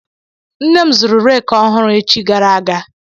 Nne m zụrụ reeki ọhụrụ echi gara aga.